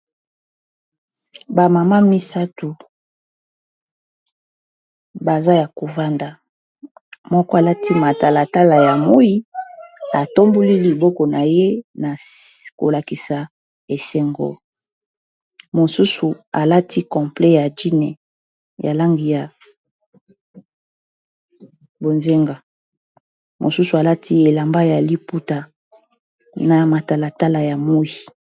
Bamama misato baza ya kovanda moko alati matalatala ya moi atamboli liboko na ye na kolakisa esengo mosusu alati complet ya jine ya langi ya bozenga mosusu alati elamba ya liputa na matalatala ya moi.